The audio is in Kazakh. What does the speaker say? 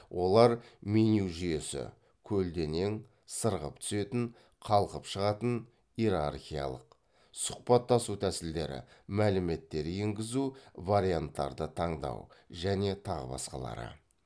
олар меню жүйесі көлденең сырғып түсетін қалқып шығатын иерархиялық сұхбаттасу тәсілдері мәліметтер енгізу варианттарды таңдау және тағы басқалары